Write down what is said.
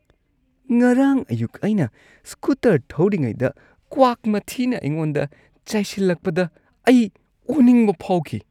ꯉꯔꯥꯡ ꯑꯌꯨꯛ ꯑꯩꯅ ꯁ꯭ꯀꯨꯇꯔ ꯊꯧꯔꯤꯉꯩꯗ ꯀ꯭ꯋꯥꯛ ꯃꯊꯤꯅ ꯑꯩꯉꯣꯟꯗ ꯆꯥꯏꯁꯤꯜꯂꯛꯄꯗ ꯑꯩ ꯑꯣꯅꯤꯡꯕ ꯐꯥꯎꯈꯤ꯫